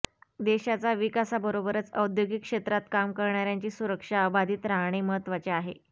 देशाचा विकासाबरोबरच औद्योगिक क्षेत्रात काम करणाऱ्यांची सुरक्षा अबाधित राहणे महत्वाचे आहे